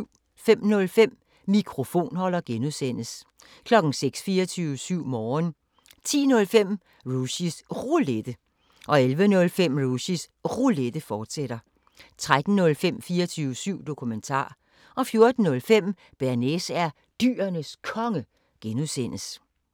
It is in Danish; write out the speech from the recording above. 05:05: Mikrofonholder (G) 06:00: 24syv Morgen 10:05: Rushys Roulette 11:05: Rushys Roulette, fortsat 13:05: 24syv Dokumentar 14:05: Bearnaise er Dyrenes Konge (G)